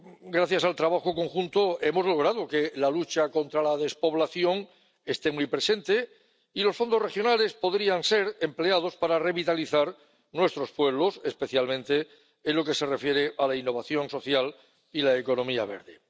Gracias al trabajo conjunto, hemos logrado que la lucha contra la despoblación esté muy presente, y los fondos regionales podrían ser empleados para revitalizar nuestros pueblos, especialmente en lo que se refiere a la innovación social y la economía verde.